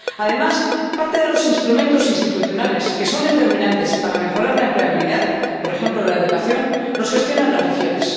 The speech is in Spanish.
Además, parte de los instrumentos institucionales que son determinantes para mejorar la empleabilidad, por ejemplo la educación, los gestionan las regiones.